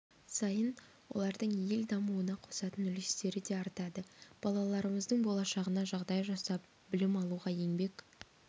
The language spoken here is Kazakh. сайын олардың ел дамуына қосатын үлестері де артады балаларымыздың болашағына жағдай жасап білім алуға еңбек